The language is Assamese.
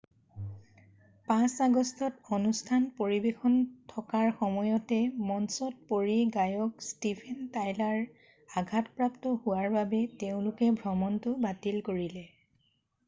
5 আগষ্টত অনুষ্ঠান পৰিবেশন থকাৰ সময়তে মঞ্চত পৰি গায়ক ষ্টিভেন টাইলাৰ আঘাতপ্ৰাপ্ত হোৱাৰ বাবে তেওঁলোকে ভ্ৰমণটো বাতিল কৰিলে